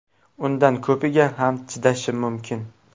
Undan ko‘piga ham chidashim mumkin.